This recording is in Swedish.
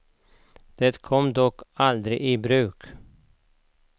Det kom dock aldrig i bruk.